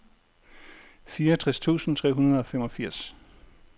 fireogtres tusind tre hundrede og femogfirs